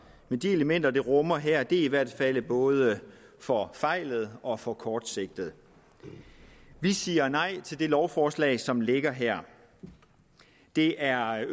men de elementer det rummer her er i hvert fald både forfejlede og for kortsigtede vi siger nej til det lovforslag som ligger her det er